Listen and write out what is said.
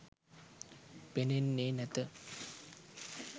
පෙනෙන්නේ නැත.